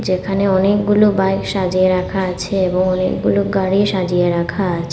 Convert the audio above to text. যেখানে অনেকগুলো বাইক সাজিয়ে রাখা আছে এবং অনেকগুলো গাড়ি সাজিয়ে রাখা আছে।